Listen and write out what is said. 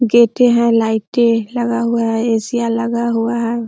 गेटे है लाइटे लगा हुआ है ए.सी. या लगा हुआ है ।